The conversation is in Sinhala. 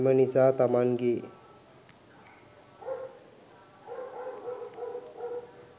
එම නිසා, තමන්ගේ